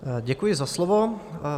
Děkuji za slovo.